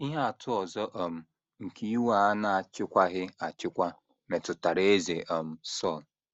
Ihe atụ ọzọ um nke iwe a na - achịkwaghị achịkwa metụtara Eze um Sọl.